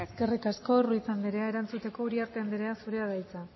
eskerrik asko ruiz andrea erantzuteko uriarte andrea zurea da hitza